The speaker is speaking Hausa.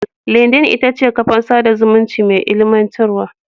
Lindin ita ce kafar sada zumunci mai ilimantarwa.